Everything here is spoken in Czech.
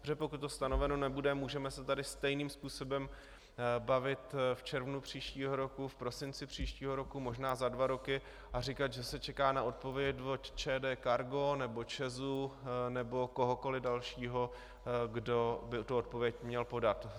Protože pokud to stanoveno nebude, můžeme se tady stejným způsobem bavit v červnu příštího roku, v prosinci příštího roku, možná za dva roky a říkat, že se čeká na odpověď od ČD Cargo nebo ČEZ nebo kohokoliv dalšího, kdo by tuto odpověď měl podat.